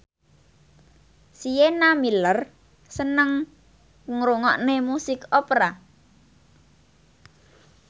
Sienna Miller seneng ngrungokne musik opera